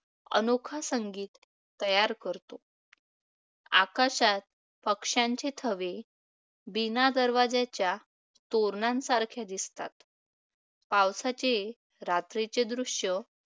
अनोखा संगीत तयार करतो. आकाशात पक्षांचे थवे बिनादरवाज्याच्या तोरणांसारख्या दिसतात. पावसांचे रात्रीचे दृश्य पावसाळ्यात